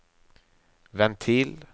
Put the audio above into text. ventil